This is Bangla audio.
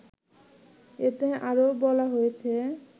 এতে আরও বলা হয়েছে